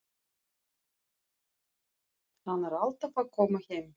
Hann er alltaf að koma heim.